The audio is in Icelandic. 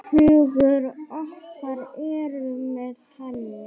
Hugur okkar er með henni.